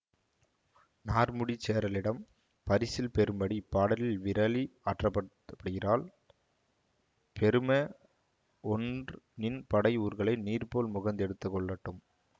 நார்முடிச் சேரலிடம் பரிசில் பெறும்படி இப்பாடலில் விறலி ஆற்றுப்படுத்தப்படுகிறாள் பெரும ஒன்ற் நின் படை ஊர்களை நீர் போல முகந்து எடுத்துக்கொள்ளட்டும்